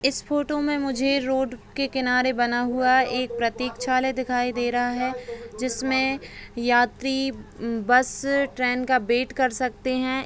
इस फोटो मे मुझे रोड के किनारे बना हुआ एक प्रतीक्षालय दिखाई दे रहा है जिसमे यात्री बस ट्रेन का वेट कर सकते है।